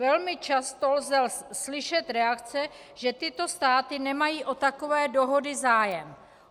Velmi často lze slyšet reakce, že tyto státy nemají o takové dohody zájem.